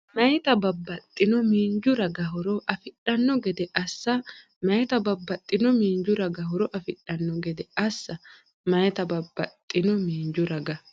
Meyaata babbaxxino miinju raga horo afidhanno gede assa Meyaata babbaxxino miinju raga horo afidhanno gede assa Meyaata babbaxxino miinju raga.